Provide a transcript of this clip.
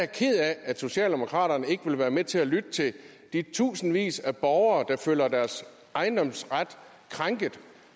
ked af at socialdemokraterne ikke vil være med til at lytte til de tusindvis af borgere der føler deres ejendomsret krænket